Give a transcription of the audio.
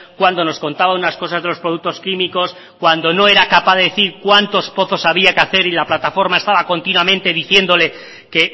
cuando nos contaba unas cosas de los productos químicos cuando no era capaz de decir cuántos pozos había que hacer y la plataforma estaba continuamente diciéndole que